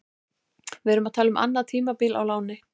Við erum að tala um annað tímabil á láni.